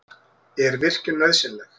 Er virkjun nauðsynleg?